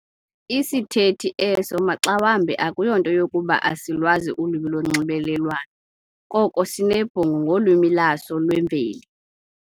Isithethi eso maxawambi akuyonto yokuba asilwazi ulwimi lonxibelelwano, koko sinebhongo ngolwimi lwaso lwemveli.